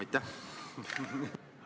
Aitäh!